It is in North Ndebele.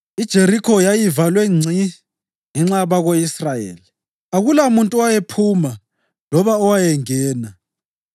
IJerikho yayivalwe ngci ngenxa yabako-Israyeli. Akulamuntu owayephuma loba owayengena.